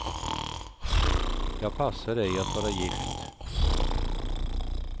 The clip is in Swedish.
Jag passar ej att vara gift.